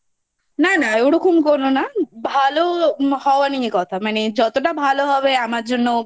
না না ওরকম করো না। ভালো হওয়া নিয়ে কথা মানে যতটা ভালো হবে আমার জন্য